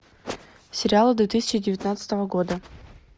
сериалы две тысячи девятнадцатого года